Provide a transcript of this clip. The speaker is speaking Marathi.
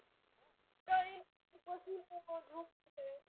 काय नाही बसलेली आहे झोप येत आहे.